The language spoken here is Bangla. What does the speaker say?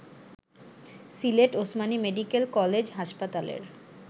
সিলেট ওসমানী মেডিকেল কলেজ হাসপাতালের